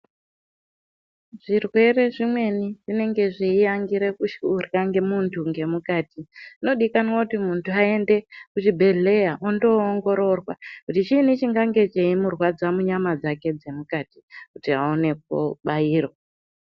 Zvirwere zvimweni zvinenge zveyiangira kudya mundu ngemukati zvinodikanwa kuti mundu ayende kuzvibhedhleya ondo ongororwa kuti chiini chakange cheyimurwadza manyama dzake dzemukati kuti awone kubayirwa.